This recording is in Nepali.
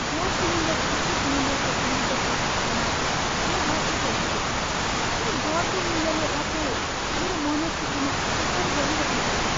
ग्यास सिलिन्डरको उचित मूल्यको बिलको प्रतिक्षामा म बसेको हुन्थेँ, तर बढ्दो मूल्यले अचेल मेरो मनस्थितिमा असर गरिरहेको छ।